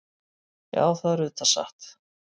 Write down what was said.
Já, það er auðvitað satt.